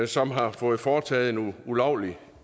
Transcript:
som har fået foretaget nogle ulovlige